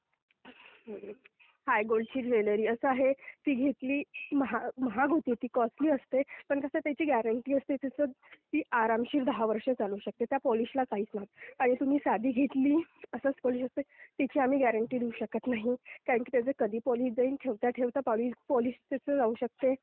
हाय गोल्डची ज्वेलरी, असं आहे ती घेतली महाग होते ती कॉस्टली असते; पण कसं त्याची ग्यारंटी असते. ती आरामशीर दहा वर्षे चालू शकते. त्या पॉलिशला काहीच होत नाही आणि तुम्ही साधी घेतली असं तर त्याची आम्ही ग्यारंटी घेऊ शकत नाही. कारण त्याचं कधी पॉलिश जाईल. ठेवता ठेवता पॉलिश त्याचं जाऊ शकते.